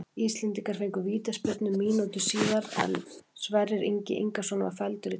Íslendingar fengu vítaspyrnu mínútu síðar er Sverrir Ingi Ingason var felldur í teignum.